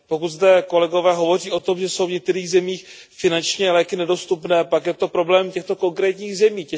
Pokud zde kolegové hovoří o tom, že jsou v některých zemích finančně léky nedostupné, pak je to problém těchto konkrétních zemí.